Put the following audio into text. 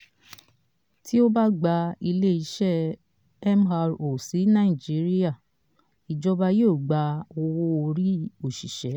tí o bá gbé ilé-iṣẹ́ mro sí nàìjíríà ìjọba yóò gba owó-ori òṣìṣẹ́.